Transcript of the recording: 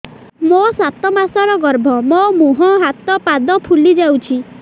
ମୋ ସାତ ମାସର ଗର୍ଭ ମୋ ମୁହଁ ହାତ ପାଦ ଫୁଲି ଯାଉଛି